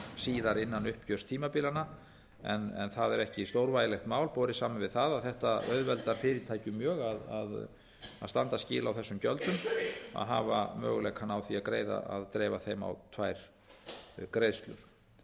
síðar innan uppgjörstímabilanna en það er ekki stórvægilegt mál borið saman við það að þetta auðveldar fyrirtækjum mjög að standa skil á þessum gjöldum að hafa möguleikana á að dreifa þeim á tvær greiðslur